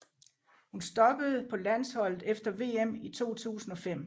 Hun stoppede på landsholdet efter VM i 2005